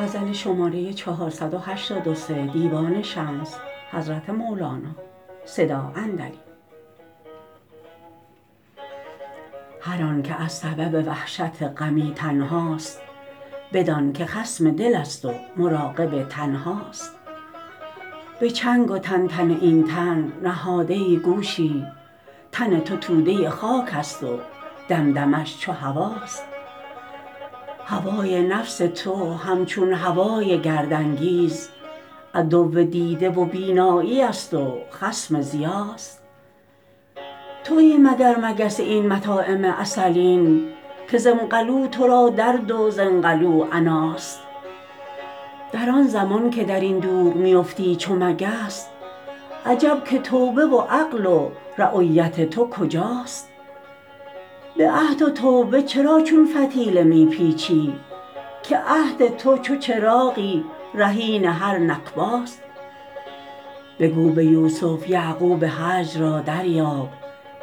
هر آنک از سبب وحشت غمی تنهاست بدانک خصم دلست و مراقب تن هاست به چنگ و تنتن این تن نهاده ای گوشی تن تو توده خاکست و دمدمه ش چو هواست هوای نفس تو همچون هوای گردانگیز عدو دیده و بینایی ست و خصم ضیاست توی مگر مگس این مطاعم عسلین که زامقلو تو را درد و زانقلوه عناست در آن زمان که در این دوغ می فتی چو مگس عجب که توبه و عقل و رأیت تو کجاست به عهد و توبه چرا چون فتیله می پیچی که عهد تو چو چراغی رهین هر نکباست بگو به یوسف یعقوب هجر را دریاب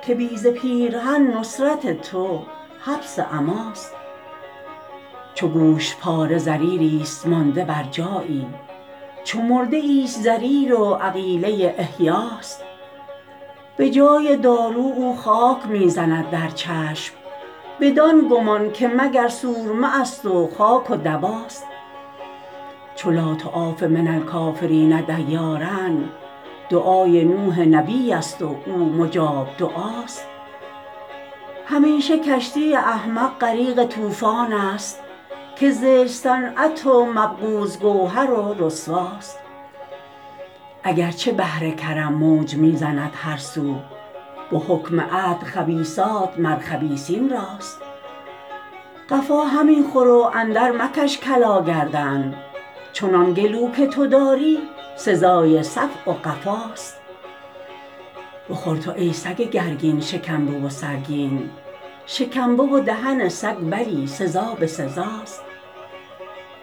که بی ز پیرهن نصرت تو حبس عماست چو گوشت پاره ضریریست مانده بر جایی چو مرده ای ست ضریر و عقیله احیاست به جای دارو او خاک می زند در چشم بدان گمان که مگر سرمه است و خاک و دواست چو لا تعاف من الکافرین دیارا دعای نوح نبیست و او مجاب دعاست همیشه کشتی احمق غریق طوفان ست که زشت صنعت و مبغوض گوهر و رسواست اگر چه بحر کرم موج می زند هر سو به حکم عدل خبیثات مر خبیثین راست قفا همی خور و اندرمکش کلا گردن چنان گلو که تو داری سزای صفع و قفاست گلو گشاده چو فرج فراخ ماده خران که کیر خر نرهد زو چو پیش او برخاست بخور تو ای سگ گرگین شکنبه و سرگین شکمبه و دهن سگ بلی سزا به سزاست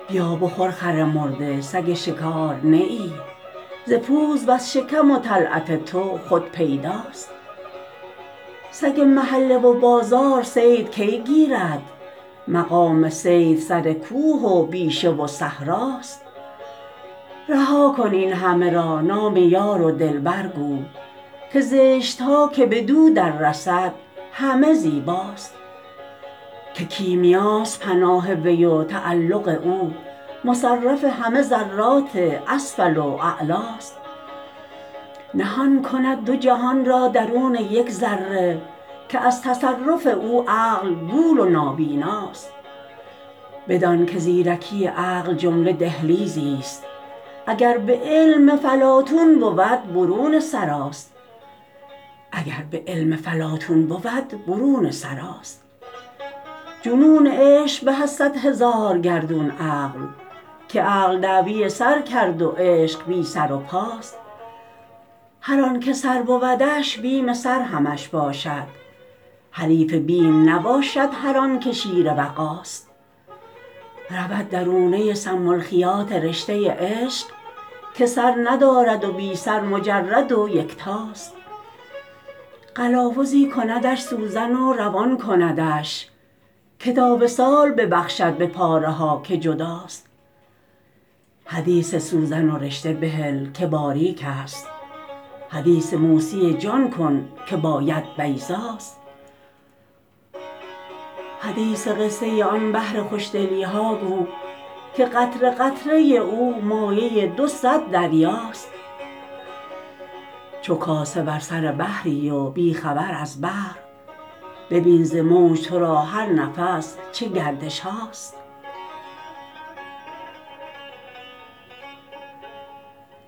بیا بخور خر مرده سگ شکار نه ای ز پوز و ز شکم و طلعت تو خود پیداست سگ محله و بازار صید کی گیرد مقام صید سر کوه و بیشه و صحراست رها کن این همه را نام یار و دلبر گو که زشت ها که بدو دررسد همه زیباست که کیمیاست پناه وی و تعلق او مصرف همه ذرات اسفل و اعلاست نهان کند دو جهان را درون یک ذره که از تصرف او عقل گول و نابیناست بدانک زیرکی عقل جمله دهلیزیست اگر به علم فلاطون بود برون سراست جنون عشق به از صد هزار گردون عقل که عقل دعوی سر کرد و عشق بی سر و پاست هر آنک سر بودش بیم سر همش باشد حریف بیم نباشد هر آنک شیر وغاست رود درونه سم الخیاط رشته عشق که سر ندارد و بی سر مجرد و یکتاست قلاوزی کندش سوزن و روان کندش که تا وصال ببخشد به پاره ها که جداست حدیث سوزن و رشته بهل که باریکست حدیث موسی جان کن که با ید بیضاست حدیث قصه آن بحر خوشدلی ها گو که قطره قطره او مایه دو صد دریاست چو کاسه بر سر بحری و بی خبر از بحر ببین ز موج تو را هر نفس چه گردشهاست